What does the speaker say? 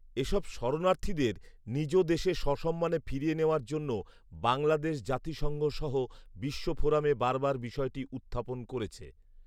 এসব শরণার্থীদের নিজ দেশে সসম্মানে ফিরিয়ে নেওয়ার জন্য বাংলাদেশ জাতিসংঘ সহ বিশ্বফোরামে বারবার বিষয়টি উত্থাপন করেছে